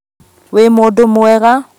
Wĩ mũndũmwega